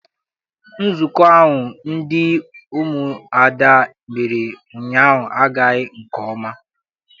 Nzukọ ahụ ndị umuada mere ụnyaahụ agaghị nke ọma.